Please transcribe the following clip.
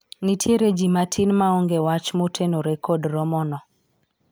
nitiere jii matin ma onge wach motenore kod romo no